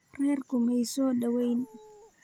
Reerku may soo dhawayn.